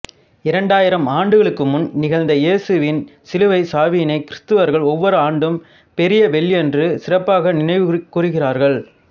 இரண்டாயிரம் ஆண்டுகளுக்கு முன் நிகழ்ந்த இயேசுவின் சிலுவைச் சாவினைக் கிறித்தவர்கள் ஒவ்வொரு ஆண்டும் பெரிய வெள்ளியன்று சிறப்பாக நினைவுகூர்கின்றார்கள்